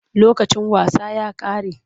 Lokacin wasa ya ƙare.